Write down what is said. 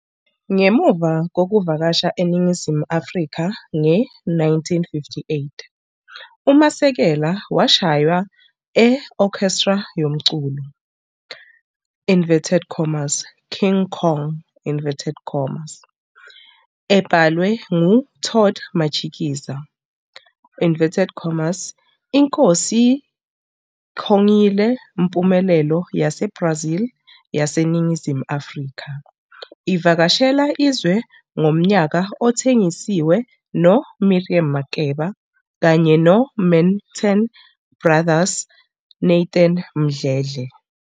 Ngemuva kokuvakasha eNingizimu Afrika nge-1958, uMasekela washaywa e-orchestra yomculo " King Kong", ebhalwe ngu-Todd Matshikiza. "'INkosi Kong' 'yile mpumelelo yaseBrazil yaseNingizimu Afrika, ivakashela izwe ngomnyaka othengisiwe no Miriam Makeba kanye noManhattan Brothers' Nathan Mdledle.